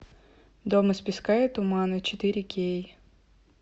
дом из песка и тумана четыре кей